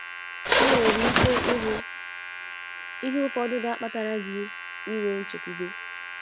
Ị nwere ike ịhụ ihe ufọdụ ga-akpatara gi inwe nchekwube.